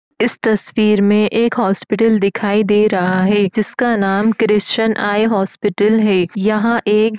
इस तस्वीर में एक हॉस्पिटल दिखाई दे रहा है जिसका नाम क्रिश्चियन आई हॉस्पिटल है यहां एक --